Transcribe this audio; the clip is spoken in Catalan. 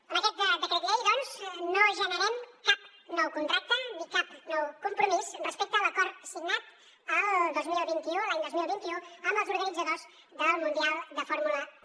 amb aquest decret llei doncs no generem cap nou contracte ni cap nou compromís respecte a l’acord signat el dos mil vint u l’any dos mil vint u amb els organitzadors del mundial de fórmula un